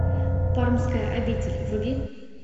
пармская обитель вруби